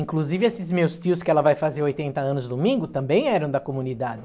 Inclusive, esses meus tios, que ela vai fazer oitenta anos domingo, também eram da comunidade.